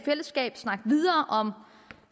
snakke videre om